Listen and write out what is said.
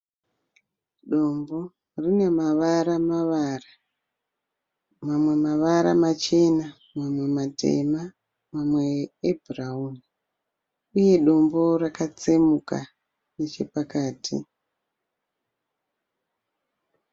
Dombo rine mavara mavara mamwe mavara machena mamwe matema mamwe ebhurawuni. Uye dombo rakatsemuka nechepakati.